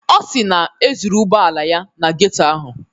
Ọ si na e zuru ụgbọala ya na geto ahụ.